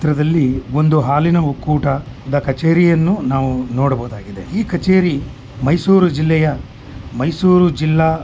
ಇಲ್ಲಿ ನಾವು ಏನು ನೋಡ್ತಾ ಇದ್ದೀರಿ ಅಂದ್ರೆ ಇಲ್ಲಿ ಹುಡುಗ ನೀರು ಕಡೆ ಎಲ್ಲಾ ಬ್ರಿಡ್ಜ್ ಮೇಲೆ ನಿಂತುಕೊಂಡು ಅಲ್ಲಿ ಫೋಟೋಸ್ ಹೇಳ್ತೀರೋದು ಅಂತ ನೋಡಬಹುದು